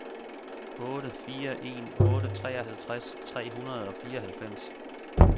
otte fire en otte treoghalvtreds tre hundrede og fireoghalvfems